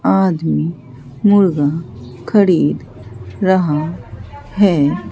आदमी मुर्गा खरीद रहा है।